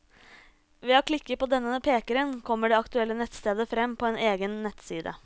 Ved å klikke på denne pekeren, kommer det aktuelle nettstedet frem på en egen nettside.